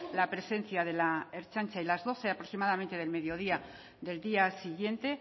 la presencia de la ertzaintza y las doce aproximadamente del mediodía del día siguiente